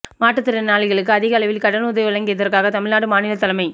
மாற்றுத்திறனாளிகளுக்கு அதிக அளவில் கடன் உதவி வழங்கியதற்காக தமிழ்நாடு மாநிலத் தலைமை